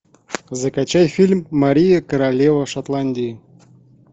закачай фильм мария королева шотландии